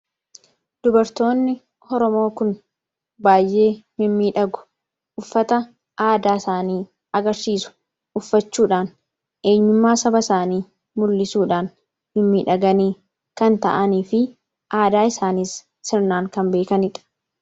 Dubartoonni Oromoo kun baay'ee mimmiidhagu. Uffata aadaa isaanii agarsiisu uffachuudhaan eenyummaa saba isaanii mul'isuudhaan mimmiidhaganii kan taa'anii fi aadaa isaaniis sirnaan kan beekanidha.